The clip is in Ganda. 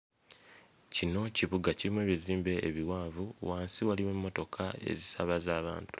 Kino kibuga kirimu ebizimbe ebiwanvu wansi waliwo emmotoka ezisaabaza abantu.